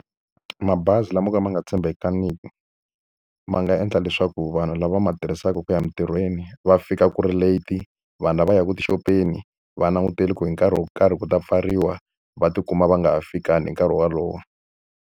Mabazi lama mo ka ma nga tshembekangiki, ma nga endla leswaku vanhu lava ma tirhisaka ku ya emintirhweni va fika ku ri late. Vanhu lava yaka tixopeni va langutele ku hi nkarhi wo karhi ku ta pfariwa, va tikuma va nga fikangi hi nkarhi wolowo.